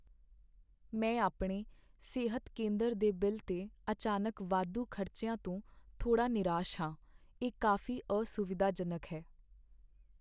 ਮੈਂ ਆਪਣੇ ਸਿਹਤ ਕੇਂਦਰ ਦੇ ਬਿੱਲ 'ਤੇ ਅਚਾਨਕ ਵਾਧੂ ਖ਼ਰਚਿਆਂ ਤੋਂ ਥੋੜ੍ਹਾ ਨਿਰਾਸ਼ ਹਾਂ, ਇਹ ਕਾਫ਼ੀ ਅਸੁਵਿਧਾਜਨਕ ਹੈ।